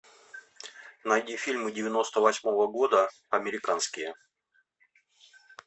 найди фильмы девяносто восьмого года американские